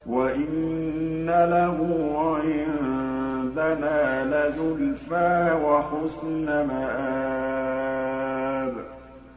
وَإِنَّ لَهُ عِندَنَا لَزُلْفَىٰ وَحُسْنَ مَآبٍ